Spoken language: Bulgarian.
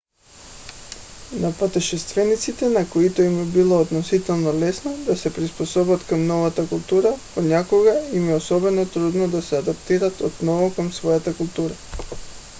на пътешествениците на които им е било относително лесно да се приспособят към новата култура понякога им е особено трудно да се адаптират отново към своята култура